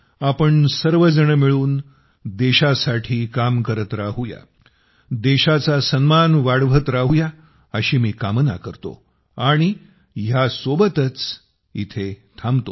आपण सर्वजण मिळून देशासाठी काम करत राहू या देशाचा सन्मान वाढवत राहू या अशी मी कामना करतो व हयासोबतच इथे थांबतो